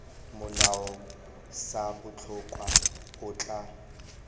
molao sa botlhokwa o tla